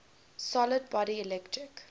solid body electric